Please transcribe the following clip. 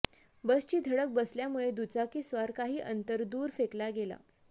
बसची धडक बसल्यामुळे दुचाकीस्वार काही अंतर दूर फेकला गेला